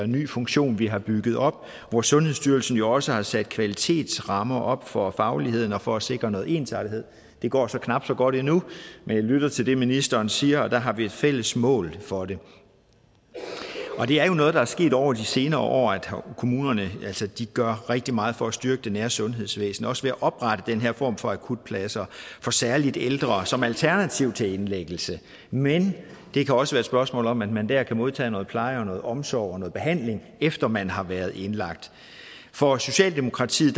ny funktion vi har bygget op hvor sundhedsstyrelsen jo også har sat kvalitetsrammer op for fagligheden og for at sikre noget ensartethed det går så knap så godt endnu men jeg lytter til det ministeren siger og der har vi et fælles mål for det det er jo noget der er sket over de senere år altså at kommunerne gør rigtig meget for at styrke det nære sundhedsvæsen også ved at oprette den her form for akutpladser for særlig ældre som alternativ til indlæggelse men det kan også være et spørgsmål om at man der kan modtage noget pleje og noget omsorg og noget behandling efter man har været indlagt for socialdemokratiet